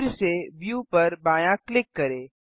फिर से व्यू पर बायाँ क्लिक करें